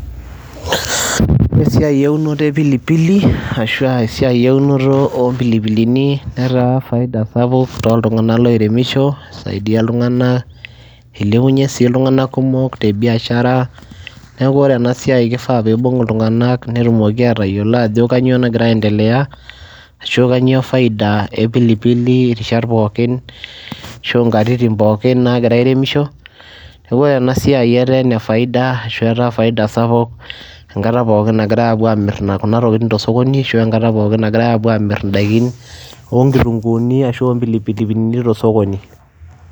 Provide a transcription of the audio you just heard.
Esiai eunoto e pilipili ashu aa esiai eunoto oo mpilipilini netaa faida sapuk tooltung'anak loiremisho isaidia iltung'anak, ilepunye sii iltung'anak kumok te biashara. Neeku ore ena siai kifaa piibung' iltung'anak netumoki aatayiolo ajo kanyo nagira aiendelea ashu kanyo faida e pilipili rishat pookin ashu nkatitin pookin naagira airemisho. Neeku ore ena siai etaa ene faida ashu etaa faida sapuk enkata pookin naagirai aapuo aamir kuna tokitin to sokoni ashu enkata pookin nagirai aapuo aamir ndaikin o nkitung'uuni ashu o mpilipilini to osokoni.